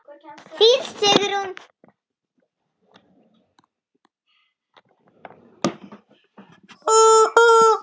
Þín Sigrún.